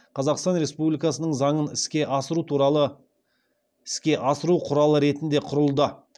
қазақстан республикасының заңын іске асыру құралы ретінде құрылды